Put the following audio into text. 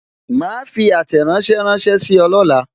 Ma fi àtẹ̀ránsẹ́ ránsẹ́ sí ọ lọla